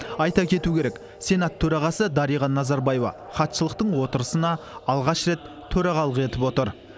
айта кету керек сенат төрағасы дариға назарбаева хатшылықтың отырысына алғаш рет төрағалық етіп отыр